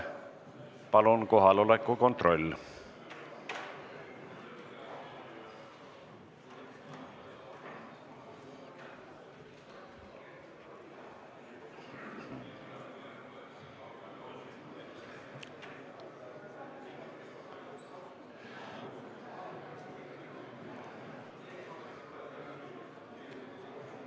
Palun kohaloleku kontroll!